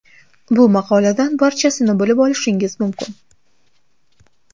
Bu maqoladan barchasini bilib olishingiz mumkin.